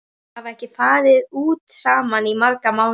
Þau hafa ekki farið út saman í marga mánuði.